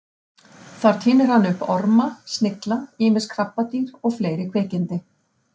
Þar tínir hann upp orma, snigla, ýmis krabbadýr og fleiri kvikindi.